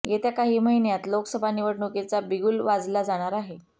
येत्या काही महिन्यांत लोकसभा निवडणुकीचा बिगुल वाजला जाणार आहे